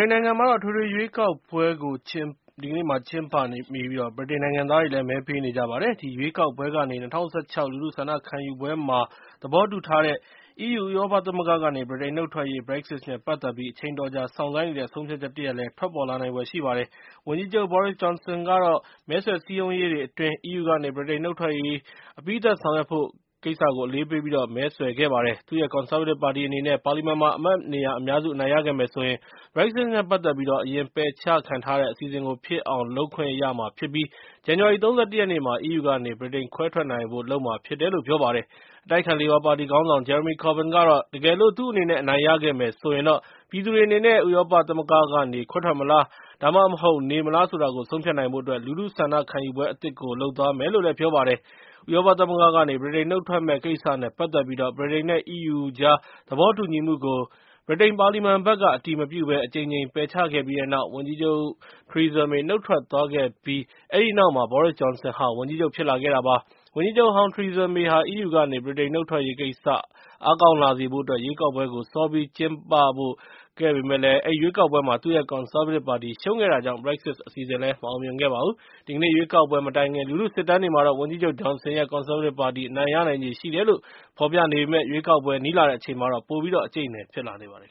န်နိုင်ငံမှာတော့ အထွေထွေရွေးကောက်ပွဲကို ကျင်းပနေပြီး ဗြိတိန် နိုင်ငံသားတွေလည်း မဲပေးနေကြပါတယ်။ ဒီရွေးကောက်ပွဲကနေ ၂၀၁၆ လူထုဆန္ဒခံယူပွဲမှာ သဘောတူထားတဲ့ EU ဥရောပသမဂ္ဂကနေ ဗြိတိန်နှုတ်ထွက်ရေး (Brexit) နဲ့ ပတ်သက်ပြီး အချိန်အတော်ကြာ စောင့်ဆိုင်းနေတဲ့ ဆုံးဖြတ်ချက်လည်း ထွက်ပေါ်လာမှာဖြစ်ပါတယ်။ ဝန်ကြီးချုပ် Boris Johnson ကတော့ မဲဆွယ်စည်းရုံးရေးတွေ အတွင်း EU ကနေ ဗြိတိန်နုတ်ထွက်ရေး အပြီးသတ်ဆောင်ရွက်ဖို့ကို အလေးပေးပြီး မဲဆွယ်ခဲ့ပါတယ်။ သူ့ရဲ့ ကွန်ဆာဗေးတစ်ပါတီအနေနဲ့ ပါလီမန်မှာ အမတ်နေရာအများစုခဲ့မယ်ဆိုရင် (Brexit) နဲ့ ပတ်သက်ပြီး အရင်ပယ်ချခံထားရတဲ့ အစီအစဉ်ကို ဖြစ်အောင်လုပ်ဖို့ ခွင့်ပြုမှာဖြစ်ပြီး ဇန်နဝါရီ ၃၁ ရက်နေ့မှာ EU ကနေ ဗြိတိန်ခဲွဲထွက်ဖို့ ကိစ္စကို လုပ်မှာဖြစ်တယ်လို့ ပြောပါတယ်။ အတိုက်အခံ လေဘာပါတီခေါင်းဆောင် Jeremy Corbyn ကတော့ တကယ်လို့ သူအနေနဲ့အနိုင်ရခဲ့မယ်ဆိုရင်တော့ ပြည်သူတွေအနေနဲ့ ဥရောပသမဂ္ဂကနေ ခွဲထွက်မလား ဒါမှမဟုတ် နေမလား ဆိုတာကို ဆုံးဖြတ်နိုင်ဖို့အတွက် လူထုဆန္ဒခံယူပွဲအသစ်ကို လုပ်သွားမယ်လို့ ပြောပါတယ်။ ဥရောပသမဂ္ဂကနေ ဗြိတိန်နှုတ်ထွက်မယ့် ကိစ္စနဲ့ ပတ်သက်ပြီး ဗြိတိန် နဲ့ EU ကြားသဘောတူညီမှုကို ဗြိတိန်ပါလီမန်ဘက်ကနေ အတည်မပြုဘဲ အကြိမ်ကြိမ် ပယ်ချခဲ့ပြီးတဲ့နောက် ဝန်ကြီးချုပ် ထရီဇာမေ နုတ်ထွက်သွားခဲ့ပြီးတဲ့နောက်မှာ Boris Johnson ဝန်ကြီးချုပ် ဖြစ်လာခဲ့တာပါ။ ဝန်ကြီးချုပ်ဟောင်း ထရီဇာမေဟာ EU ကနေ ဗြိတိန်နုတ်ထွက်ရေးကိစ္စ အားကောင်းလာစေဖို့အတွက် ရွေးကောက်ပွဲကို စောပြီးကျင်းပဖို့ လုပ်ခဲ့ပေမယ့်၊ အဲဒီရွေးကောက်ပွဲမှာ သူ့ရဲ့ ကွန်ဆားဗေးတစ်ပါတီ ရှုံးနိမ့်ခဲ့တာကြောင့် Brexit အစီအစဉ်လည်း မအောင်မြင်ခဲ့ပါဘူး။ ဒီကနေ့ ရွေးကောက်ပွဲမတိုင်ခင် လူထုစစ်တမ်းတွေမှာတော့ ဝန်ကြီးချုပ်ဂျွန်ဆင်ရဲ့ ကွန်ဆားဗေးတစ်ပါတီ အနိုင်ရနိုင်ချေရှိတယ်လို့ ဖော်ပြနေပေမယ့် ရွေးကောက်ပွဲ နီးလာတဲ့အချိန်မှာတော့ ပိုပြီးတော့ အကြိတ်အနယ် ဖြစ်လာနေပါတယ်